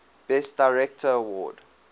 best director award